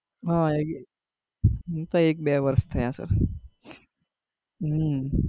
હા એક મને તો એક બે વર્ષ થયા છે હમ